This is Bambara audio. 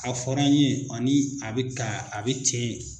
A fɔra an ye ani a bɛ ka a bɛ ten.